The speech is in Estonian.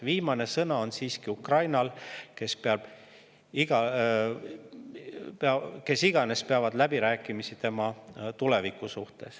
Viimane sõna on siiski Ukrainal, kes iganes peavad läbirääkimisi tema tuleviku üle.